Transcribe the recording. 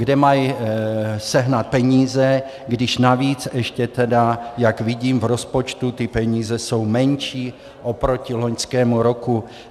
Kde mají sehnat peníze, když navíc ještě tedy, jak vidím, v rozpočtu ty peníze jsou menší oproti loňskému roku?